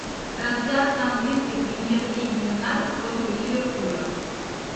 трансляция английской премьер лиги юнайтед против ливерпуля